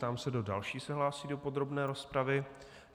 Ptám se, kdo další se hlásí do podrobné rozpravy.